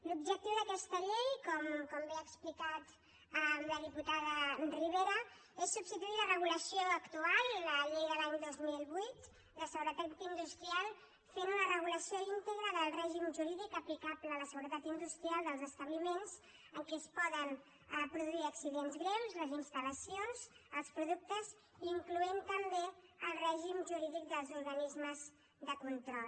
l’objectiu d’aquesta llei com bé ha explicat la diputada ribera és substituir la regulació actual la llei de l’any dos mil vuit de seguretat industrial i fer una regulació íntegra del règim jurídic aplicable a la seguretat industrial dels establiments en què es poden produir accidents greus les instal·lacions i els productes incloent hi també el règim jurídic dels organismes de control